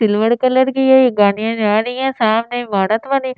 silver colour की ये गाड़ियां जा रही है सामने इमारत बनी--